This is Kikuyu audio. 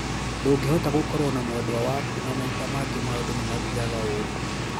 Ndungihota gũkorwo na mwendwa waku na maita mangi maundũ nimathiaga ũrũ.